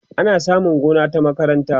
ana samun gona ta makaranta